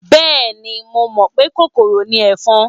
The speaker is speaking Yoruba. Bẹ́ẹ̀ni, mo mọ̀ pé kòkòrò ni ẹ̀fọn.